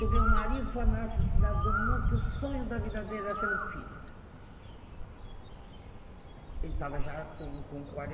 Do meu marido foi a maior felicidade do mundo, que o sonho da vida dele era ter um filho. Uhum. Ele estava já com com